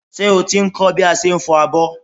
Ṣé o ti ń kọ́ bí a ṣe ń fọ abọ́?